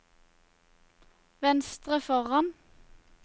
venstre foran